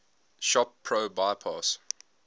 shop pro bypass